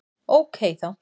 Ókei þá!